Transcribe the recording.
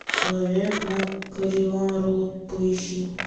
человек на кэррион роуд поищи